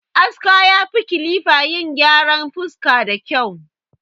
Aska ya fi kilifa yin gyaran fuska da kyau